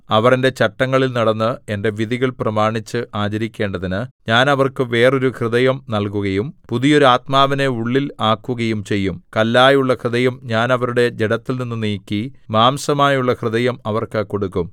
അവർ എന്റെ ചട്ടങ്ങളിൽ നടന്ന് എന്റെ വിധികൾ പ്രമാണിച്ച് ആചരിക്കേണ്ടതിന് ഞാൻ അവർക്ക് വേറൊരു ഹൃദയം നല്കുകയും പുതിയൊരു ആത്മാവിനെ ഉള്ളിൽ ആക്കുകയും ചെയ്യും കല്ലായുള്ള ഹൃദയം ഞാൻ അവരുടെ ജഡത്തിൽനിന്ന് നീക്കി മാംസമായുള്ള ഹൃദയം അവർക്ക് കൊടുക്കും